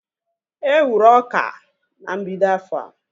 E wuru ọka na mbido afọa